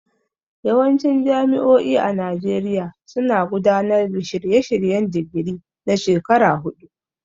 Yawancin jami'o'i a Najeriya suna gudanar da shirye-shiryen digiri na shekaru huɗu.